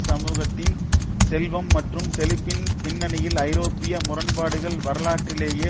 சமூகத்தின் செல்வம் மற்றும் செழிப்பின் பின்னணியில் ஐரோப்பிய முரண்பாடுகள் வரலாற்றிலேயே